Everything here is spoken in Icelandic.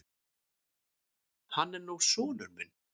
Hann er nú sonur minn.